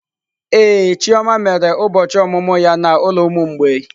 Ee, chioma mere ụbọchị ọmụmụ ya na ụlọ ụmụ mgbei.